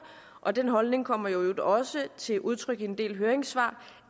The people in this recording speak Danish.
og den holdning kommer i øvrigt også til udtryk i en del høringssvar